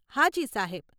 હાજી, સાહેબ.